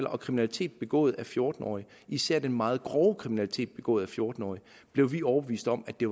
og kriminalitet begået af fjorten årige især den meget grove kriminalitet begået af fjorten årige blev vi overbevist om at det